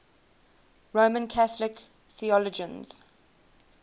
roman catholic theologians